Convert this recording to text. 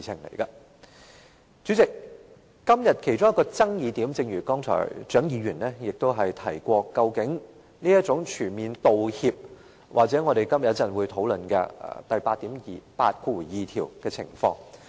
代理主席，今天其中一個爭議點——正如剛才蔣議員亦有提及——在於"全面道歉"或我們今天稍後會討論第82條的情況。